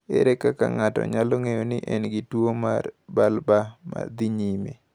Ere kaka ng’ato nyalo ng’eyo ni en gi tuwo mar bulbar ma dhi nyime?